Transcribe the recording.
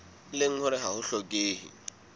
leng hore ha ho hlokehe